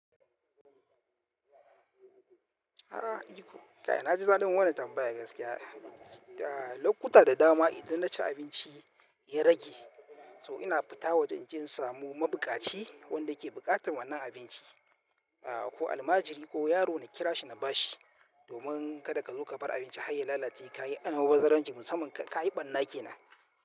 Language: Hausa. A'a iko ka, na ji zalun wannan tambayar gaskiya. Lokuta da dama idan na ci abinci ya rage, so ina fita wajen kin samu mabukaci wanda ke buƙatar wannan abinci, ko almajiri ko yaro na kira shi na ba shi domin kada kada ka zo ka bar abinci har ya lalace ka yi almubazzaranci musamman ka yi ɓarna ke nan.